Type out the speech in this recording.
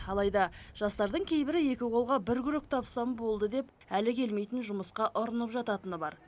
алайда жастардың кейбірі екі қолға бір күрек тапсам болды деп әлі келмейтін жұмысқа ұрынып жататыны бар